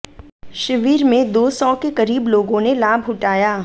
शिविर में दो सौ के करीब लोगों ने लाभ उठाया